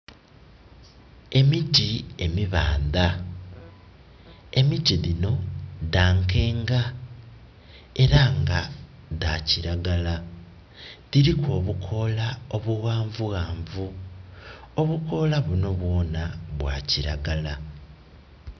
Emiti emibaandha. Emiti dhino dha nkenga era nga dha kiragala. Dhiliku obukoola omughanvughanvu. Obukoola bunho bwoonha bwa kiragala.